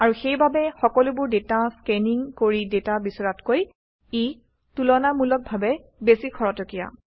আৰু সেইবাবেই সকলোবোৰ ডাটা স্কেনিং কৰি ডাটা বিচৰাতকৈ ই তুলনামূলকভাৱে বেছি খৰতকীয়া